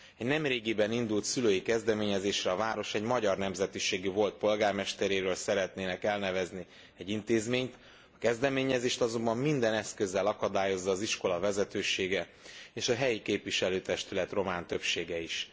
Egy nemrégiben indult szülői kezdeményezésre a város egy magyar nemzetiségű volt polgármesteréről szeretnének elnevezni egy intézményt, a kezdeményezést azonban minden eszközzel akadályozza az iskola vezetősége, és a helyi képviselőtestület román többsége is.